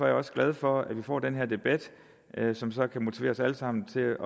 jeg også glad for at vi får den her debat som så kan motivere os alle sammen til